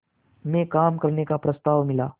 में काम करने का प्रस्ताव मिला